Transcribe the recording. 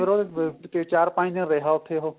ਫੇਰ ਉਹ ਚਾਰ ਪੰਜ ਦਿਨ ਰਿਹਾ ਉੱਥੇ ਉਹ